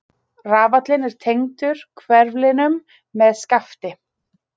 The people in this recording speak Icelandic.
Rafallinn er tengdur hverflinum með skafti.